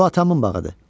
Bu atamın bağıdır.